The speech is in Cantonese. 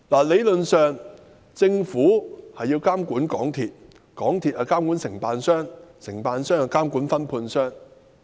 理論上，政府要監管港鐵公司，港鐵公司要監管承辦商，承辦商要監管分判商。